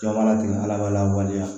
Jɔ mana tigɛ ala b'a lawaleya